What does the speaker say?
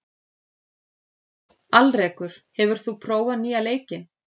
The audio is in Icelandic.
Alrekur, hefur þú prófað nýja leikinn?